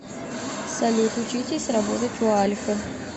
салют учитесь работать у альфы